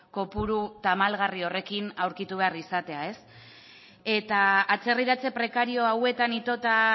kopuru tamalgarri horrekin aurkitu behar izatea eta atzerriratze prekario hauetan itota